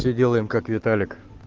всё делаем как виталик